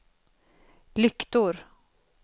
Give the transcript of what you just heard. lyktor